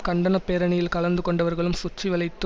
கண்டன பேரணியில் கலந்து கொண்டவர்களும் சுற்றி வளைத்து